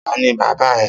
Ta ni bàbá ẹ?